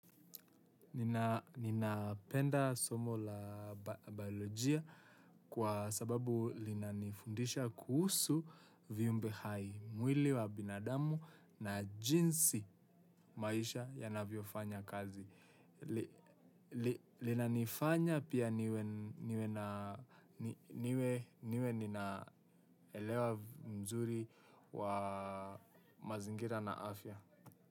Nina penda somo la biolojia kwa sababu linanifundisha kuhusu vyumbe hai, mwili wa binadamu na jinsi maisha yanavyofanya kazi. Linanifanya pia niwe niwe na niwe ninaelewa uzuri wa mazingira na afya.